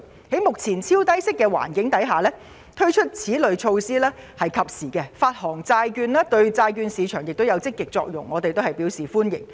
在目前超低息的環境下，推出此類措施實屬及時，發行債券對債券市場亦有積極作用，我們表示歡迎。